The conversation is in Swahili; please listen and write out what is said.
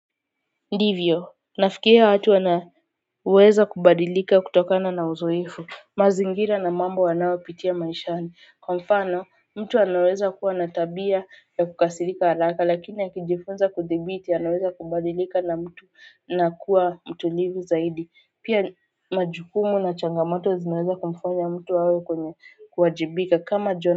Ndivyo nafukiria watu wanaweza kubadilika kutokana na uzoefu mazingira na mambo wanayopitia maishani kwa mfano mtu anaweza kuwa na tabia ya kukasirika haraka lakini akijifunza kudhibiti anaweza kubadilika na mtu na kuwa mtulivu zaidi pia majukumu na changamato zinaweza kumfanya mtu awe kwenye kuwajibika kama jo.